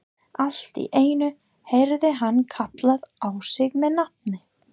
Allt í einu heyrði hann kallað á sig með nafni.